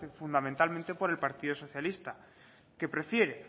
fundamentalmente por el partido socialista que prefiere